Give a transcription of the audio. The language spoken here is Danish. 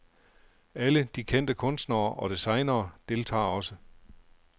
Alle de kendte kunstnere og designere deltager også.